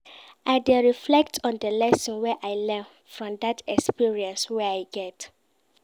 I dey reflect on di lesson wey I learn from dat experience wey I get.